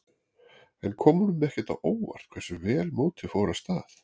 En kom honum ekkert á óvart hversu vel mótið fór af stað?